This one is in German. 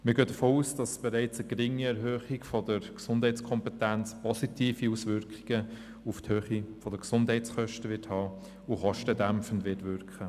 Wir gehen davon aus, dass bereits eine geringe Erhöhung der Gesundheitskompetenz positive Auswirkungen auf die Höhe der Gesundheitskosten hat und kostendämpfend wirkt.